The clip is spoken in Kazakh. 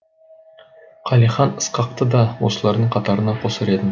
қалихан ысқақты да осылардың қатарына қосар едім